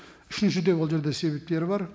үшінші де ол жерде себептері бар